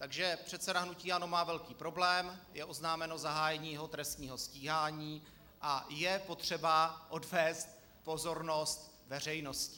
Takže předseda hnutí ANO má velký problém: je oznámeno zahájení jeho trestního stíhání a je potřeba odvést pozornost veřejnosti.